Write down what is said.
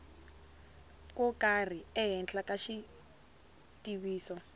ko karhi ehenhla ka xitiviso